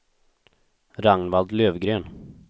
Ragnvald Lövgren